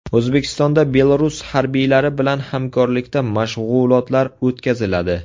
O‘zbekistonda Belarus harbiylari bilan hamkorlikda mashg‘ulotlar o‘tkaziladi .